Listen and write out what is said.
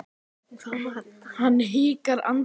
Hann hikar andartak en segir síðan